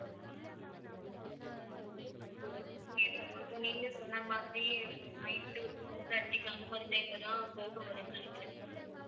okay ma'am அப்ப நீங்க சொன்ன மாதிரி night ஒரு four thirty க்கு அந்த மாதிரி time ல தான் போக முடியும்னு நினைக்கிறேன்